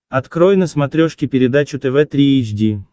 открой на смотрешке передачу тв три эйч ди